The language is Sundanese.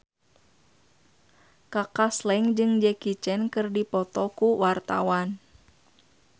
Kaka Slank jeung Jackie Chan keur dipoto ku wartawan